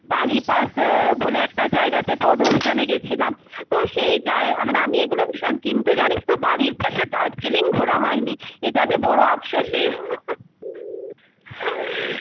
বালিপাস আহ বলে একটা জায়গাতে পদ অভিযানে গেছিলাম, তো সেই জাই আহ আ মানে আমি এগুলো ভীষণ কিন্তু জানিস তো বাড়ির পাশে দার্জিলিং ঘোরা হয়নি, এটা যে বড়ো আফসোসই